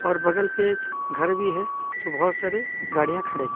और बगल पे एक घर भी हैं जो बहोत सारे गाड़ियां खड़े है।